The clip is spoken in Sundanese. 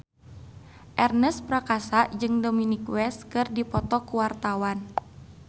Ernest Prakasa jeung Dominic West keur dipoto ku wartawan